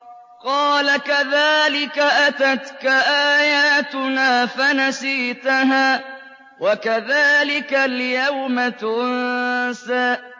قَالَ كَذَٰلِكَ أَتَتْكَ آيَاتُنَا فَنَسِيتَهَا ۖ وَكَذَٰلِكَ الْيَوْمَ تُنسَىٰ